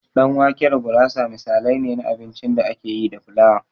Ɗan wake da gurasa misalai ne na abincin da ake yi da flawa.